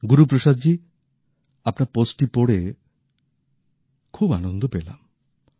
গুরুপ্রসাদজী আপনার পোস্টটী পড়ে খুব আনন্দ পেলাম